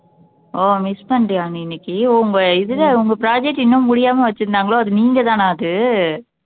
ஓ miss பண்ணிட்டியா நீ இன்னைக்கு ஓ உங்க இதுல உங்க project இன்னும் முடியாம வச்சிருந்தாங்களோ அது நீங்க தானா அது